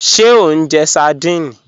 Ṣé o njẹ́ sárdínè?